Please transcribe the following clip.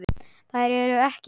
Þær eru ekki margar.